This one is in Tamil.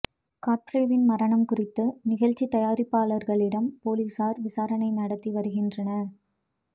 காட்ப்ரேவின் மரணம் குறித்து நிகழ்ச்சித் தயாரிப்பாளர்களிடம் போலீசார் விசாரணை நடத்தி வருகின்றனர்